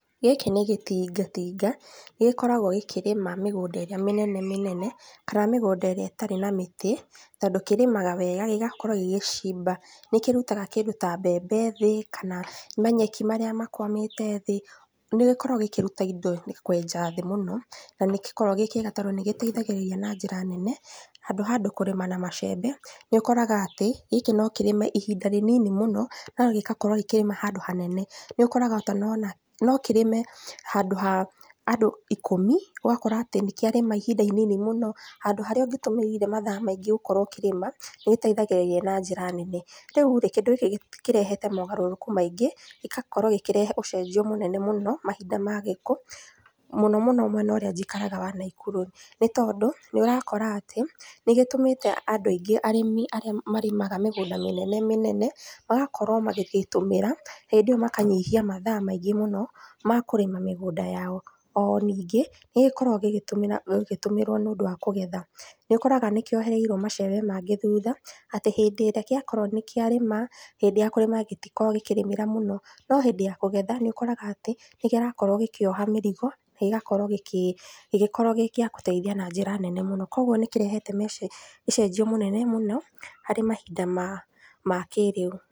Gĩkĩ nĩ gĩtingatinga, nĩgĩkoragwo gĩkĩrĩma mĩgũnda ĩrĩa mĩnene mĩnene, kana mĩgũnda ĩrĩa ĩtarĩ na mĩtĩ, tondũ kĩrĩmaga wega gĩgakorwo gĩgĩcimba. Nĩkĩrutaga kĩndũ ta mbembe thĩ kana manyeki marĩa makwamĩte thĩ, nĩgĩkoragwo gĩkĩruta indo nĩkwenja thi mũno, na nĩgĩkoragwo gĩ kĩega tondũ nĩgĩteithagĩrĩria na njĩra nene handũ wa andũ kũrĩma na macembe, nĩũkoraga atĩ gĩkĩ no kĩrĩme ihinda rĩnini mũno, no gĩgakorwo gĩkĩrĩma handũ hanene. Nĩũkoraga kana ona no kĩrĩme handũ ha andũ ikũmi, ũgakora atĩ nĩkĩarĩma ihinda inini mũno, handũ harĩa ũngĩtũmĩrire mathaa maingĩ gũkorwo ũkĩrĩma, nĩgĩteithagĩrĩrĩa na njĩra nene. Rĩurĩ, kĩndũ gĩkĩ kirehete mogarũrũku maingĩ, gĩgakorwo gĩkĩrehe ũcenjio mũnene mũno mahinda mathikũ. Mũnomũno mwena ũrĩa njikaraga wa Naikuru nĩtondũ, nĩũrakora atĩ, nĩgĩtũmĩte andũ aingĩ arĩmi arĩa marĩmaga mĩgũnda mĩnenemĩnene magakorwo magĩgĩtũmĩra hĩndĩ ĩyo makanyihia mathaa maingĩ mũno, makũrima mĩgunda yao. O ningĩ, nĩgĩkoragwo gĩgĩtumĩra gĩgĩtũmĩrwo nĩundũ wa kũgetha. Nĩũkoraga nĩkĩohereirwo macembe mangĩ thutha, atĩ hĩndĩ ĩrĩa gĩa korwo nĩkĩarĩma hĩndĩ ya kũrĩma gĩtikoragwo gĩkĩrĩmĩra mũno no hĩndĩ ya kũgetha nĩũkoraga atĩ, nĩkĩrakorwo gĩkioha mĩrigo nagĩgakorwo gĩgĩkorwo gĩgĩteitha na njĩra nene mũno. Koguo nĩkĩrehete mĩce ũcenjio mĩnene mũno harĩ mahinda ma kĩrĩu.